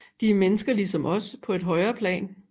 De er mennesker lige som os på et højere plan